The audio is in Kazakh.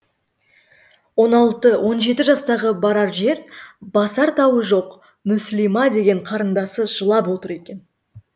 он алты он жеті жастағы барар жер басар тауы жоқ мүслима деген қарындасы жылап отыр екен